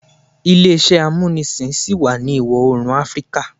Ile-iṣẹ amunisin ṣi wa ni Iwọ-oorun Afirika